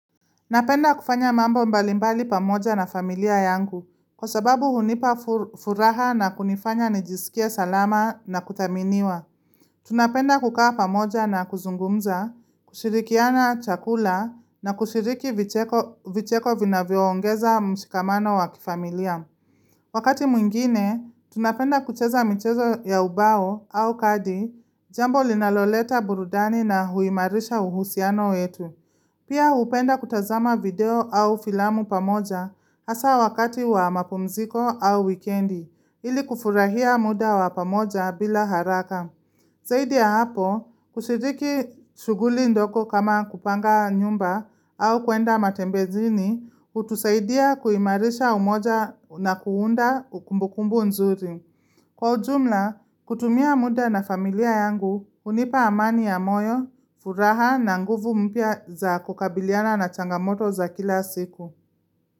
Napenda kufanya mambo mbalimbali pamoja na familia yangu kwa sababu hunipa furaha na kunifanya nijisikie salama na kuthaminiwa. Tunapenda kukaa pamoja na kuzungumza, kushirikiana chakula na kushiriki vicheko vinavyoongeza mshikamano wa kifamilia. Wakati mwingine, tunapenda kucheza michezo ya ubao au kadi jambo linaloleta burudani na huimarisha uhusiano yetu. Pia hupenda kutazama video au filamu pamoja hasa wakati wa mapumziko au wikendi, ili kufurahia muda wa pamoja bila haraka. Zaidi ya hapo, kushiriki shughuli ndogo kama kupanga nyumba au kuenda matembezini, hutusaidia kuimarisha umoja na kuunda ukumbukumbu nzuri. Kwa ujumla, kutumia muda na familia yangu hunipa amani ya moyo, furaha na nguvu mpya za kukabiliana na changamoto za kila siku.